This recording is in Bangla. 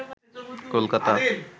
কলকাতা